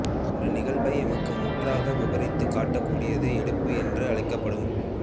ஒரு நிகழ்வை எமக்கு முற்றாக விபரித்துக் காட்டக்கூடியது எடுப்பு என்று அழைக்கப்படும்